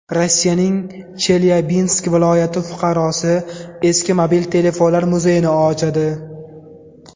Rossiyaning Chelyabinsk viloyati fuqarosi eski mobil telefonlar muzeyini ochadi .